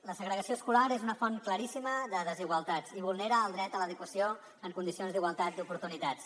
la segregació escolar és una font claríssima de desigualtats i vulnera el dret a l’educació en condicions d’igualtat d’oportunitats